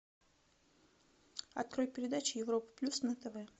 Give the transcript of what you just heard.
открой передачу европа плюс на тв